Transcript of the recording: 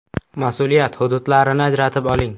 Mas’uliyat hududlarini ajratib oling.